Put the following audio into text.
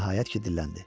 O nəhayət ki, dilləndi.